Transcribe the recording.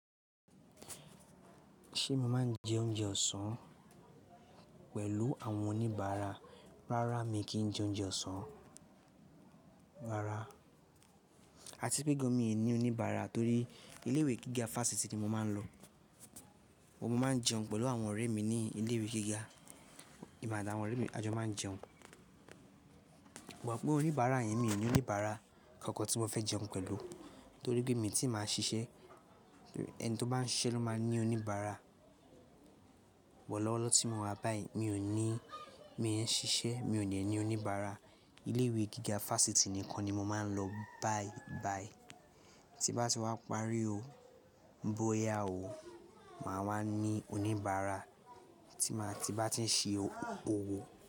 Ṣé mo máa ń jẹ oúnjẹ ọ̀sán pẹ̀lú àwọn oníbàárà? Rárá mi kì í jẹ oúnjẹ ọ̀sán rárá. A tipẹ́ gàn mí è ní oníbàárà torí ilé ìwé gíga fáfitì ni mo máa ń lọ. Mo máa ń jẹun pẹ̀lú àwọn ọ̀rẹ́ mi ní ilé ìwé gíga. Ìbàdà àwọn ọ̀rẹ́ mi, a jọ máa ń jẹun. Wàá mọ pé oníbàárà yẹn mi ò ní oníbàárà kankan tí mo fẹ́ jẹun pẹ̀lú torí pé èmi tí màá ń ṣiṣẹ́. Ẹni tó bá ń ṣiṣẹ́ ló máa ní oníbàárà. Wọ́n lọ́wọ́ lọ tí mo wà báyìí mi ò ní, mi ò ṣiṣẹ́, mi ò ní ẹni oníbàárà. Ilé ìwé gíga fáfitì nìkan ni mo máa ń lọ báyìí báyìí. Tí bá ti wá parí o, ń bóyá o, màá wá ní oníbàárà tí màá ti bá ti ń ṣe owó.